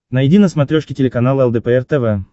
найди на смотрешке телеканал лдпр тв